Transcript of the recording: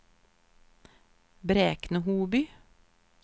Bräkne-Hoby